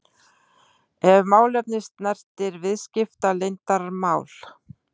ef málefni snertir viðskiptaleyndarmál.